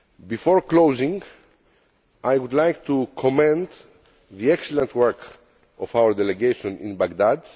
Before closing, I would like to commend the excellent work done by our Delegation in Baghdad.